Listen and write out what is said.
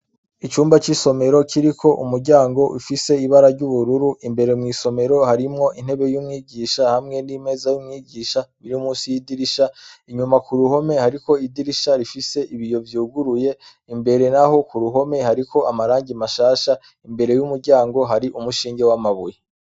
icumba c'isomero kiri ko umuryango ifise ibara ry'ubururu imbere mw'isomero harimwo intebe y'umwigisha hamwe n'imeza y'umwigisha biri munsi yidirisha inyuma ku ruhome hariko idirisha rifise ibiyo vyuguruye imbere naho ku ruhome hariko amarangi mashasha imbere y'umuryango hari umushinge w'amabuye